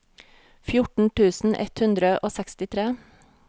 fjorten tusen ett hundre og sekstitre